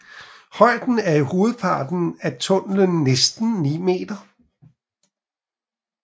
Højden er i hovedparten af tunnelen næsten 9 m